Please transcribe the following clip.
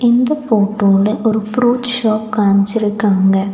இந்த ஃபோட்டோல ஒரு ஃப்ரூட் ஷாப் காம்ச்சிருக்காங்க.